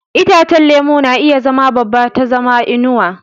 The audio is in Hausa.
Itacen lemu na iya zama babban ta zama inuwa.